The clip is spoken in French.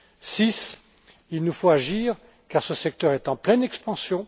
Sixièmement, il nous faut agir car ce secteur est en pleine expansion.